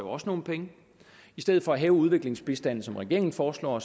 også nogle penge i stedet for at hæve udviklingsbistanden som regeringen foreslår